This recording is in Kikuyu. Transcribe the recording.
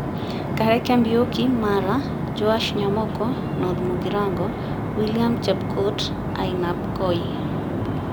Kareke Mbiuki (Maara), Joash Nyamoko (North Mugirango), William Chepkut (Ainabkoi),